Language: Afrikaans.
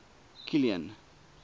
kilian